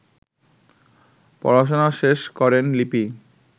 পড়াশোনা শেষ করেন লিপি